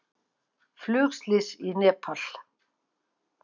Flugslys í Nepal